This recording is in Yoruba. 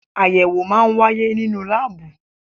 Ayẹwo máa ń wáyé nínú láàbù